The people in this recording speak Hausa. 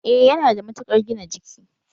Eh yana da matukar gina jiki